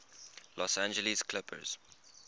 los angeles clippers